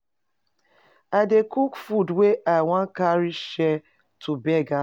I dey cook food wey I wan carry share to beggars.